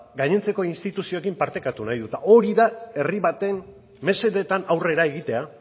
gainontzeko instituzioekin partekatu egin nahi du eta hori da herri baten mesedetan aurrera egitea